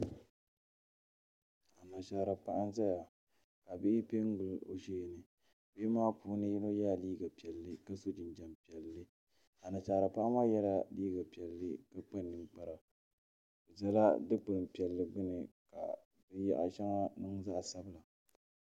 Anashaara paɣa n ʒɛya ka bihi piɛ n gili o sheeni bihi maa puuni yino yɛla liiga piɛlli ka so jinjɛm piɛlli Anashaara paɣa maa yɛla liiga piɛlli ka kpa ninkpara bi ʒɛla dikpuni piɛlli gbuni ka di yaɣa shɛŋa nyɛ zaɣ sabinli